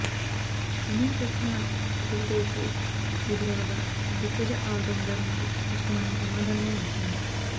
అనే ప్రశ్న కపిల్దేవ్కు ఎదురవగా దిగ్గజ ఆల్రౌండర్ నుంచి కష్టమనే సమాధానమే వచ్చింది